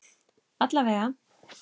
Alla vega.